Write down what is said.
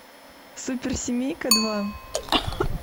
суперсемейка два